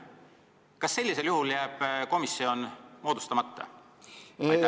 Kas sellisel juhul jääb komisjon moodustamata?